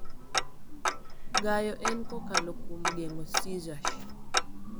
Gayo en kokalo kuom geng'o seizures.